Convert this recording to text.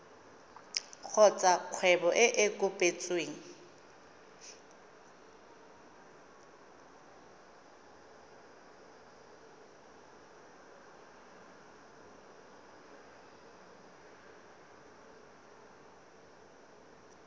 kgotsa kgwebo e e kopetsweng